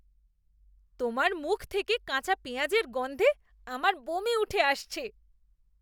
তোমার মুখ থেকে কাঁচা পেঁয়াজের গন্ধে আমার বমি উঠে আসছে।